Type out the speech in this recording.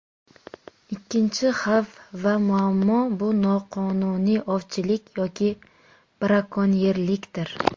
Ikkinchi xavf va muammo, bu noqonuniy ovchilik yoki brakonyerlikdir.